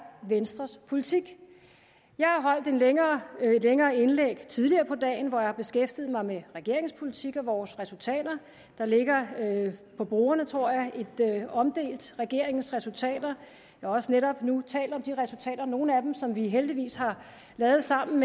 venstres politik jeg har holdt et længere indlæg tidligere på dagen hvor jeg har beskæftiget mig med regeringens politik og vores resultater der ligger på bordene tror jeg et omdelt regeringens resultater jeg har også netop nu talt om de resultater nogle af dem som vi heldigvis har lavet sammen